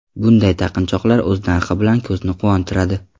Bunday taqinchoqlar o‘z narxi bilan ko‘zni quvontiradi.